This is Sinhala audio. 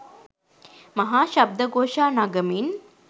මහා ශබ්ද ඝෝෂා නගමින්